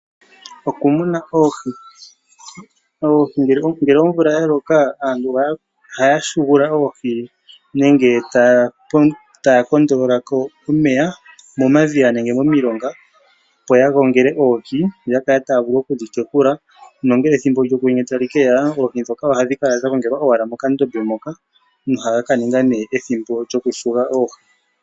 Okumuna oohi Ngele omvula ya loka aantu ohaya hugu oohi nenge taya popola ko omeya momadhiya nenge momilonga, opo ya gongele oohi , opo ya vule okudhi tekula nongele ethimbo lyokwenye sho tali keya oohi ndhoka ohadhi kala owala dha gongelwa mokadhiya moka nohaya ka ninga ethimbo lyokuhuga oohi.